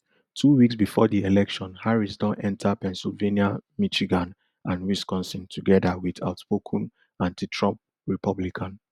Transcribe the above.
two weeks bifor di election harris don enta pensylvania michigan and wisconsin togeda wit outspoken antitrump republican